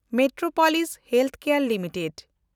Metropolis ᱦᱮᱞᱥᱠᱮᱭᱮᱱᱰ limited